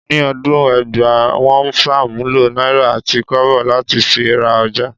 Ni ọdún ẹgbàá, wọ́n ń ṣàmúlò náírà àti kọ́bọ̀ láti fi ra ọjà